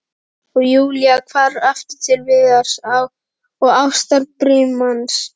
Og Júlía hvarf aftur til Viðars og ástarbrímans.